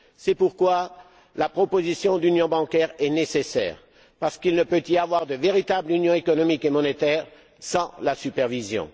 C'est pourquoi la proposition d'union bancaire est nécessaire, parce qu'il ne peut y avoir de véritable union économique et monétaire sans la supervision.